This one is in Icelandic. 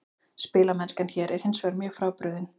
Spilamennskan hér er hinsvegar mjög frábrugðin.